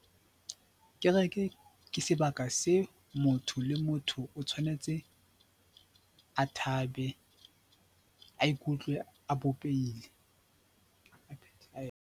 Kereke ke sebaka se motho le motho o tshwanetse a thabe, a ikutlwe a bopehile.